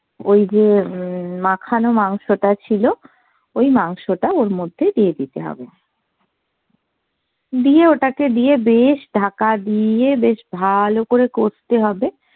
ওই যে উম মাখানো মাংসটা ছিল ওই মাংসটা ওর মধ্যে দিয়ে দিতে হবে দিয়ে ওটাকে দিয়ে বেশ ঢাকা দিয়ে বেশ ভালো করে কষতে হবে